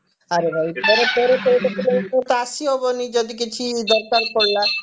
ଆରେ ଭାଇ ତେର ତେର ଚଉଦ kilometer ତ ଆସିହବନି ଯଦି କିଛି ଦରକାର ପଡିଲା